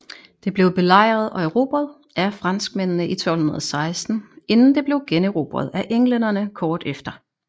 Det blev belejret og erobret af franskmændene i 1216 inden det blev generobret af englænderne kort efter